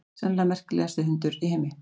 Sennilega merkilegasti hundur í heimi.